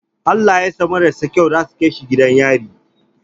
Halayan sa mararsa kyau zasu kai shi gidan yari